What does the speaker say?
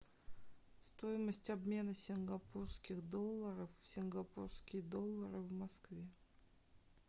стоимость обмена сингапурских долларов в сингапурские доллары в москве